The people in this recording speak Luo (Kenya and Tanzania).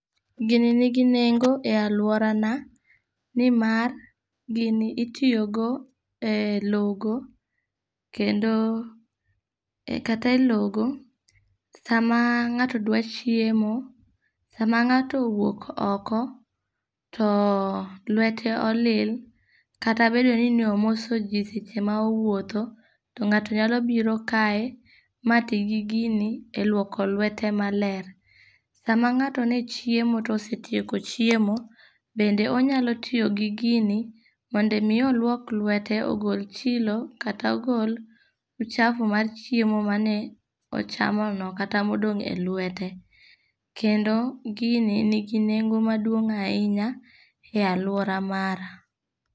Gini nigi nengo e alworana, ni mar, gini itiyogo e logo, kendo e, kata e logo, sama ngáto dwaro chiemo, sama ngáto owuok oko, to lwete olil, kata bedo ni omoso ji seche ma owuotho, to ngato nyalo biro kae, ma tii gi gini e lwoko lwete maler. Sama ngáto ne chiemo to osetieko chiemo, bende onyalo tiyo gi gini, mondo omi olwok lwete, ogol chilo, kata ogol [csluchafu mar chiemo mane ochamono, kata ma odong' e lwete. Kendo gini nigi nengo madung' ahinya e alwora mara.